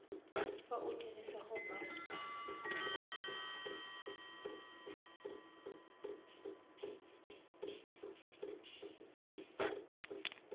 fa o dirisa go banka